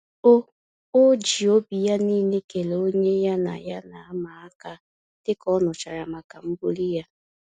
O O ji obi ya niile kelee onye ya na ya na ama-aka, dịka ọ nụchara maka mbuli ya